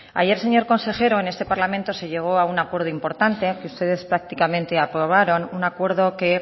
ayer señor consejero en este parlamento se llegó a un acuerdo importante que ustedes prácticamente aprobaron un acuerdo que